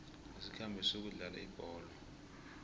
asikhambe siyokudlala ibholo